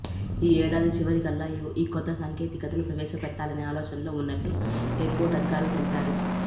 ఈ ఏడాది చివరికల్లా ఈ కొత్త సాంకేతికతను ప్రవేశపెట్టాలనే ఆలోచనలో ఉన్నట్లు ఎయిర్పోర్ట్ అధికారులు తెలిపారు